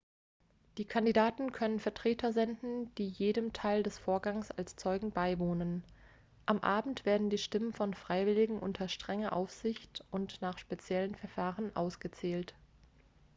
die kandidaten können vertreter senden die jedem teil des vorgangs als zeugen beiwohnen am abend werden die stimmen von freiwilligen unter strenger aufsicht und nach speziellen verfahren ausgezählt